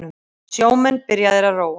Sjómenn byrjaðir að róa